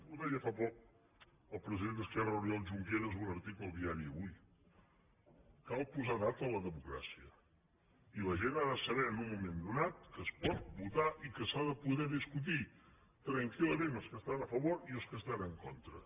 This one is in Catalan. ho deia fa poc el president d’esquerra oriol junqueras en un article al diari avuii la gent ha de saber en un moment donat que es pot votar i que s’ha de poder discutir tranquil·lament els que hi estan a favor i els que hi estan en contra